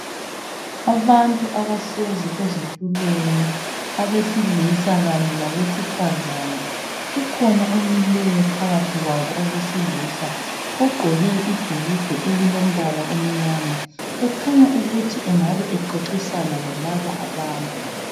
Abantu abahlezi ezitulweni abesilisa kanye labesifazana kukhona omileyo phakathi kwabo owesilisa ogqoke ibhulugwa elilombala omnyama ekhanya ukuthi engabe exoxisana lalaba abantu.